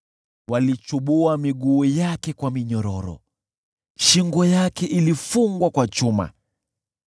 Walichubua miguu yake kwa minyororo, shingo yake ilifungwa kwa chuma,